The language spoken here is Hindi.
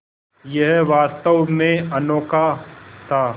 यह वास्तव में अनोखा था